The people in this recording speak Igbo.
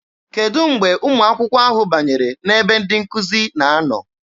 Kedụ mgbe ụmụ akwụkwọ ahụ banyere n'ebe ndị nkụzi na-anọ?